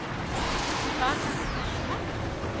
Var þetta þá svona?